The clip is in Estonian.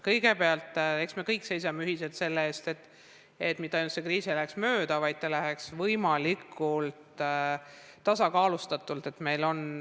Kõigepealt, eks me kõik seisame ühiselt selle eest, et mitte ainult see kriis ei läheks mööda, vaid see läheks mööda võimalikult tasakaalustatult.